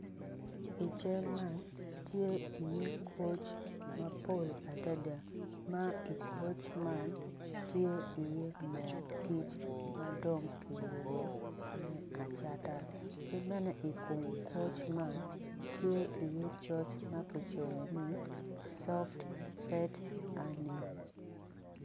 I cal man tye iye koc mapol adada ma i koc man tye iye moo kic ma dong kiyubo me acata ki bene i kom koc man tye iye coc ma kicoyo ni soft set honey.